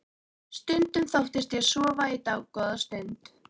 Stundum þóttist ég sofa í dágóða stund.